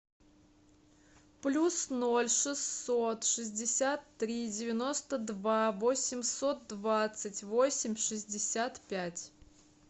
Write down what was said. плюс ноль шестьсот шестьдесят три девяносто два восемьсот двадцать восемь шестьдесят пять